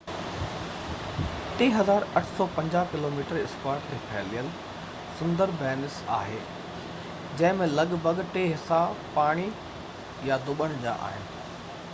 Sundarbans 3,850 km² تي ڦهليل آهي، جنهن ۾ لڳ ڀڳ ٽي حصا پاڻي/ڌُٻڻ آهي